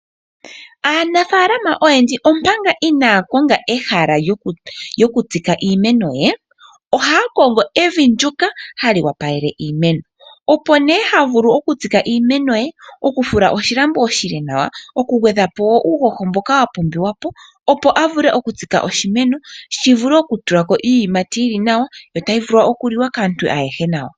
Aanafaalama oyendji omanga inaaya konga ehala lyokutsika iimeno ye, ohaya kongo evi ndyoka hali owapalele iimeno, opo nee ha vulu okutsika iimeno ye , oku fula oshilambo oshile nawa, oku gwe dha po woo uuhoho mboka wa pumbiwa po opo a vule okutsika woo oshimeno shi vule oku tulako iiyimati yili nawa, yi vule oku liwa kaantu ayehe nawa.